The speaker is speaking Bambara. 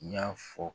N y'a fɔ